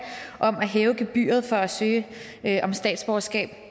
om at hæve gebyret for at søge om statsborgerskab